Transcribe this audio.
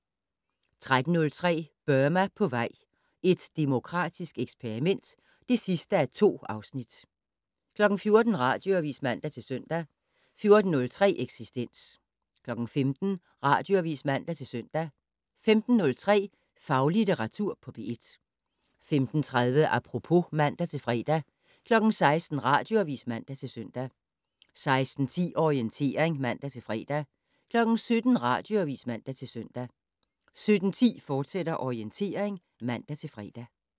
13:03: Burma på vej - et demokratisk eksperiment (2:2) 14:00: Radioavis (man-søn) 14:03: Eksistens 15:00: Radioavis (man-søn) 15:03: Faglitteratur på P1 15:30: Apropos (man-fre) 16:00: Radioavis (man-søn) 16:10: Orientering (man-fre) 17:00: Radioavis (man-søn) 17:10: Orientering, fortsat (man-fre)